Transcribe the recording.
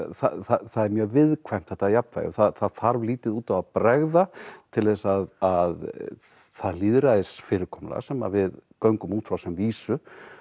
það er mjög viðkvæmt þetta jafnvægi og það þarf lítið út af að bregða til þess að það lýðræðisfyrirkomulag sem við göngum út frá sem vísu